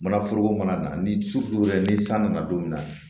Manaforoko mana na ni wɛrɛ ye ni san nana don min na